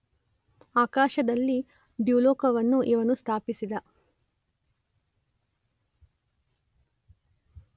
ಆಕಾಶದಲ್ಲಿ ದ್ಯುಲೋಕವನ್ನು ಇವನು ಸ್ಥಾಪಿಸಿದ.